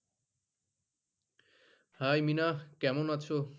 High Mina কেমন আছো?